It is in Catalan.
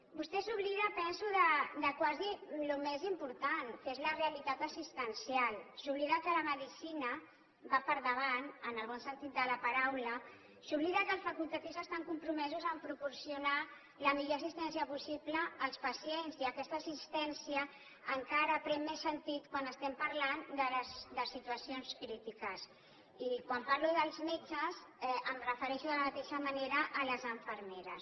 vostè s’oblida penso de quasi el més important que és la realitat assistencial s’oblida que la medicina va per davant en el bon sentit de la paraula s’oblida que els facultatius estan compromesos a proporcionar la millor assistència possible als pacients i aquesta assistència encara pren més sentit quan estem parlant de situacions crítiques i quan parlo dels metges em refereixo de la mateixa manera a les infermeres